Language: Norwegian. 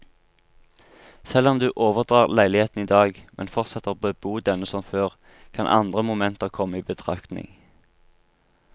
Selv om du overdrar leiligheten i dag, men fortsetter å bebo denne som før, kan andre momenter komme i betraktning.